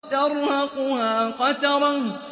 تَرْهَقُهَا قَتَرَةٌ